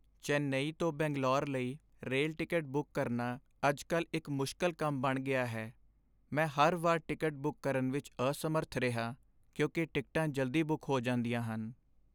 ਚੇਨਈ ਤੋਂ ਬੰਗਲੌਰ ਲਈ rail ticket book ਕਰਨਾ ਅੱਜ ਕੱਲ੍ਹ ਇੱਕ ਮੁਸ਼ਕਲ ਕੰਮ ਬਣ ਗਿਆ ਹੈ ਮੈਂ ਹਰ ਵਾਰ ਟਿਕਟ ਬੁੱਕ ਕਰਨ ਵਿੱਚ ਅਸਮਰੱਥ ਰਿਹਾ ਕਿਉਂਕਿ ਟਿਕਟਾਂ ਜਲਦੀ ਬੁੱਕ ਹੋ ਜਾਂਦੀਆਂ ਹਨ